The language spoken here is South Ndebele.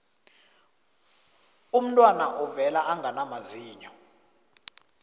umntwana uvela angana mazinyo